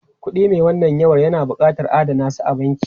Kuɗi mai wannan yawan na buƙatar a adana a banki.